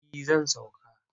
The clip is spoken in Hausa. Eh zan sauka.